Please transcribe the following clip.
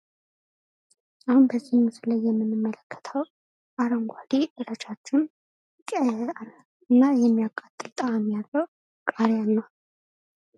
አሁን ከዚህ ምስል ላይ የምንመለከተው አረንጓዴ ረጃጅም እና የሚያቃጥል ጣእም ያለው ቃርያን ነው።